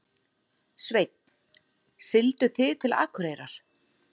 Sveinn: Siglduð þið til Akureyrar?